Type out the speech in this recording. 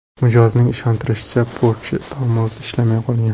Mijozning ishontirishicha, Porsche tormozi ishlamay qolgan.